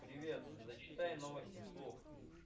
привет зачитай новости вслух